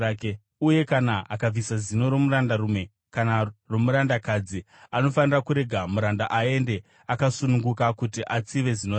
Uye kana akabvisa zino romurandarume kana romurandakadzi, anofanira kurega muranda aende akasununguka kuti atsive zino rake.